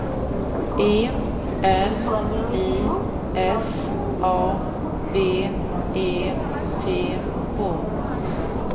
E L I S A B E T H